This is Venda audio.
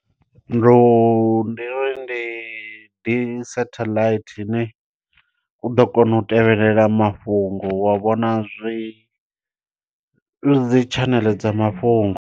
Ndo ndi uri ndi ḓi satelite ine, u ḓo kona u tevhelela mafhungo wa vhona zwi zwedzi tshaneḽe dza mafhungo.